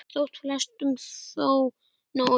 Þótti flestum þó nóg um.